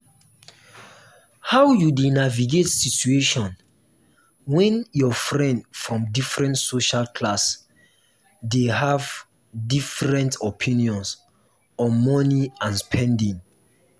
how you dey navigate situation when your friend from different social class dey have different opinions on money and spending?